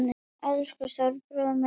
Elsku stóri bróðir minn.